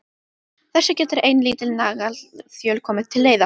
Þessu getur ein lítil naglaþjöl komið til leiðar.